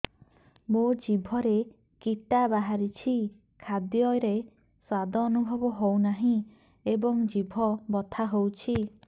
ମୋ ଜିଭରେ କିଟା ବାହାରିଛି ଖାଦ୍ଯୟରେ ସ୍ୱାଦ ଅନୁଭବ ହଉନାହିଁ ଏବଂ ଜିଭ ବଥା ହଉଛି